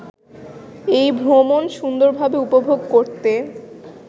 এ ভ্রমণ সুন্দরভাবে উপভোগ করতে